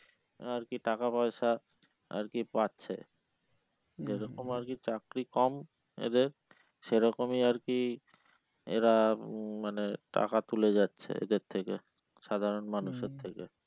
আর কি টাকা পয়সা আর কি পাচ্ছে যেরকম আর কি চাকরি কম এদের সেরকমই আর কি এরা মানে টাকা তুলে যাচ্ছে এদের থেকে সাধারণ মানুষের থেকে